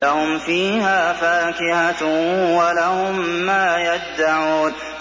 لَهُمْ فِيهَا فَاكِهَةٌ وَلَهُم مَّا يَدَّعُونَ